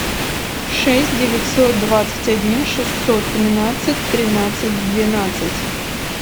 шесть девятьсот двадцать один шестьсот тринадцать тринадцать двенадцать